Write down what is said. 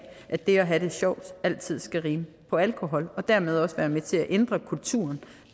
at det at have det sjovt altid skal rime på alkohol og dermed også er med til at ændre kulturen